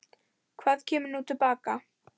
Hvað kemur nú til baka?